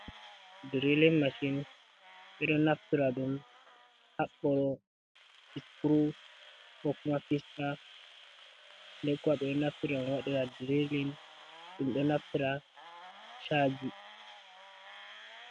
"Diriling mashin" ɓeɗo naftira ɗum haɓɓoro fisturu ko kuma fista nde kwa ɓeɗo naftira ɗum waɗira diriling ɗum do naftira chaji.